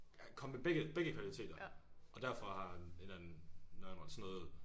Komme med begge begge kvaliteter og derfor har han et eller andet nørdet sådan noget